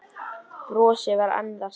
Brosið var enn það sama.